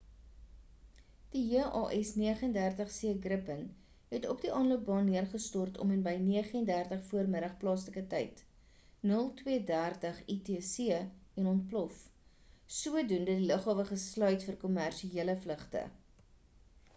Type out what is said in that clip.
die jas 39c gripen het op die aanloopbaan neergestort om en by 9:30 vm plaaslike tyd 0230 utc en ontplof sodoende die lughawe gesluit vir kommersiële vlugte